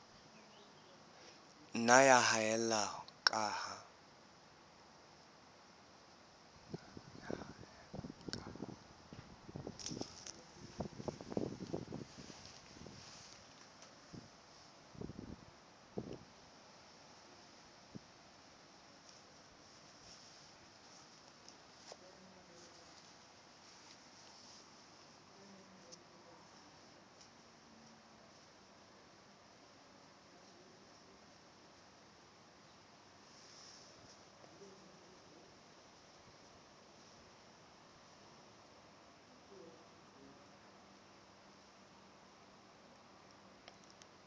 nna ya haella ka ha